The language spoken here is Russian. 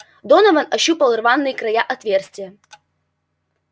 донован ощупал рваные края отверстия